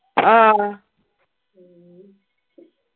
ങ്ഹാ